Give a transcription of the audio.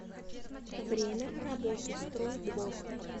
время работы стройдвор